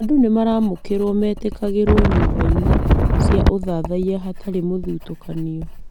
Andũ nĩ maramũkĩrwo etĩkagĩrũo nyũmba-inĩ cia ũthathaiya hatarĩ mũthutũkanio.